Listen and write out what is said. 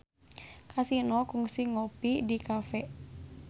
Kasino kungsi ngopi di cafe